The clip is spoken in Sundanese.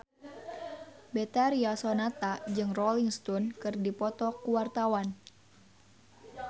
Betharia Sonata jeung Rolling Stone keur dipoto ku wartawan